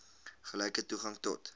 gelyke toegang tot